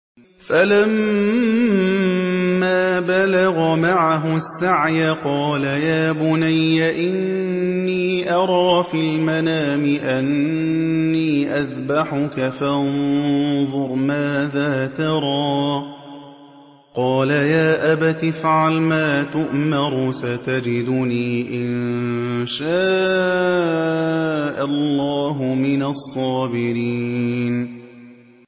فَلَمَّا بَلَغَ مَعَهُ السَّعْيَ قَالَ يَا بُنَيَّ إِنِّي أَرَىٰ فِي الْمَنَامِ أَنِّي أَذْبَحُكَ فَانظُرْ مَاذَا تَرَىٰ ۚ قَالَ يَا أَبَتِ افْعَلْ مَا تُؤْمَرُ ۖ سَتَجِدُنِي إِن شَاءَ اللَّهُ مِنَ الصَّابِرِينَ